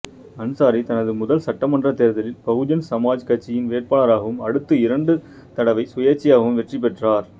அன்சாரி தனது முதல் சட்டமன்றத் தேர்தலில் பகுஜன் சமாஜ் கட்சியின் வேட்பாளராகவும் அடுத்த இரண்டு தடவை சுயேச்சையாகவும் வெற்றி பெற்றார்